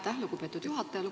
Aitäh, lugupeetud juhataja!